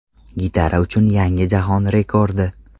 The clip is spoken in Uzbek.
Gitara uchun yangi jahon rekordi.